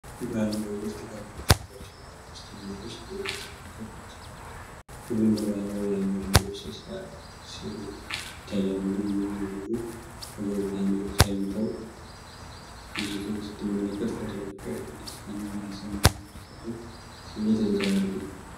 ባልና ሚስት ከትንሽ ልጃቸው ጋር በስቱዲዮ ውስጥ የቤተሰብ ፎቶ ተነስተዋል። ሁሉም በባህላዊ የሀበሻ ልብስ ሲያምሩ ይታያሉ። ሁለቱም ወላጆች ፈገግታ አሳይተው፣ ልጅቷን ስትመለከት፣ ፎቶው የፍቅር፣ የደስታ እና የቤተሰብ መተሳሰርን ስሜት ያንፀባርቃል።